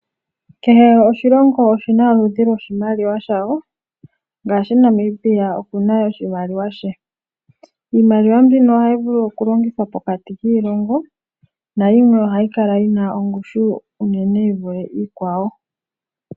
Kehe oshilongo oshi na oludhi lwoshimaliwa shawo, ngashi Namibia oku na oshimaliwa she. Iimaliwa mbino ohayi vulu okulongithwa pokati kiilongo na yimwe ohayi kala yi na ongushu onene yi vule iikwawo.